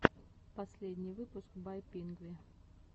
последний выпуск бай пингви